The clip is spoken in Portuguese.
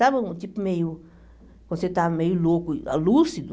Sabe um tipo meio... Quando você está meio louco, lúcido?